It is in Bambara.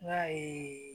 I y'a ye